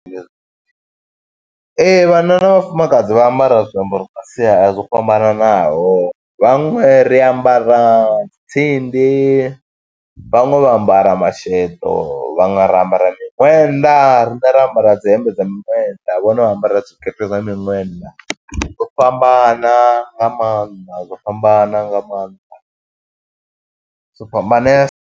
Ee, vhanna na vhafumakadzi vha ambara zwiambaro zwa sia zwo fhambananaho. Vhaṅwe ri ambara tsindi, vhaṅwe vha ambara masheḓo, vhanwe ra ambara miṅwenda. Riṋe ra ambara dzi hembe dza miṅwenda, vhone vha ambara zwikete zwa miṅwenda. Dzo fhambana nga maanḓa, dzo fhambana nga maanḓa, zwo fhambanesa.